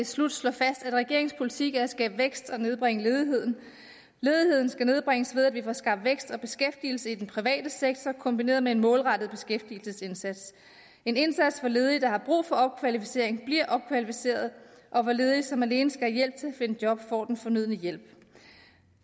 slut slå fast at regeringens politik er at skabe vækst og nedbringe ledigheden ledigheden skal nedbringes ved at vi får skabt vækst og beskæftigelse i den private sektor kombineret med en målrettet beskæftigelsesindsats en indsats hvor ledige der har brug for opkvalificering bliver opkvalificeret og hvor ledige som alene skal have hjælp til at finde job får den fornødne hjælp